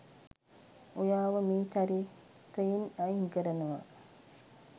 ඔයාව මේ චරිතයෙන් අයින් කරනවා